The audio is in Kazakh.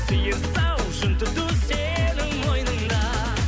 сиыр сауып жүн түту сенің мойныңда